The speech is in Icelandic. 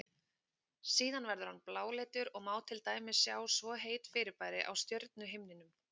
Síðan verður hann bláleitur og má til dæmis sjá svo heit fyrirbæri á stjörnuhimninum.